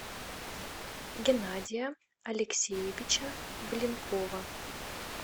геннадия алексеевича блинкова